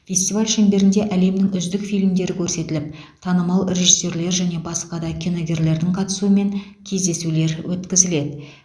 фестиваль шеңберінде әлемнің үздік фильмдері көрсетіліп танымал режиссерлер және басқа де киногерлердің қатысуымен кездесулер өткізіледі